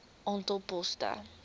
aantal poste bykomend